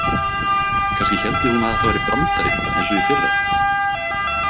Kannski héldi hún að þetta væri brandari eins og í fyrra?